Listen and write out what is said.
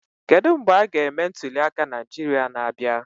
Kedu mgbe a ga-eme ntuliaka Naịjirịa na-abịa?